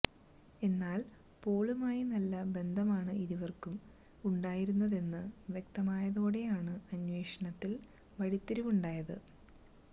എന്നാല് പോളുമായി നല്ല ബന്ധമാണ് ഇരുവര്ക്കും ഉണ്ടായിരുന്നതെന്ന് വ്യക്തമായതോടെയാണ് അന്വേഷണത്തില് വഴിത്തിരിവുണ്ടായത്